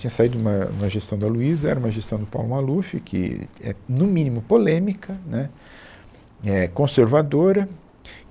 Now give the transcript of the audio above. Tinha saído uma, uma gestão da Luísa, era uma gestão do Paulo Maluf, que é, no mínimo, polêmica, né, é, conservadora.